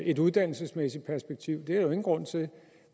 et uddannelsesmæssigt perspektiv det er der jo ingen grund til